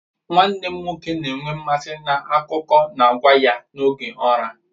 Nwanne m nwoke na-enwe mmasị n'akụkọ na-agwa ya n'oge ụra.